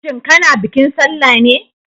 Shin kana bikin sallah ne?